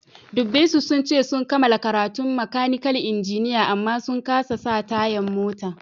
Dubbe su, sun ce sun kamala karatun makanikal injiniya amma sun kasa sa tayan mota.